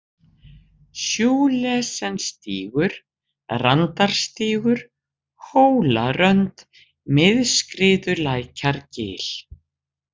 Schulesenstígur, Randarstígur, Hólarönd, Mið-Skriðulækjargil